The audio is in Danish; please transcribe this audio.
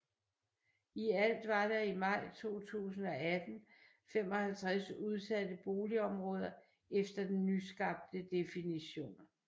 I alt var der i maj 2018 55 udsatte boligområder efter den nyskabte definition